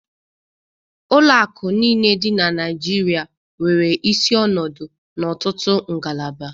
Ụlọ akụ niile dị na Naịjirịa nwere isi ọnọdụ na ọtụtụ ngalaba.